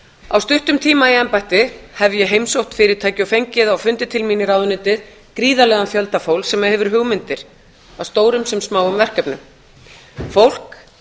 á stuttum tíma í embætti hef ég heimsótt fyrirtæki og fengið á fundi til mín í ráðuneytið gríðarlegan fjölda fólks sem hefur hugmyndir að stórum sem smáum verkefnum fólk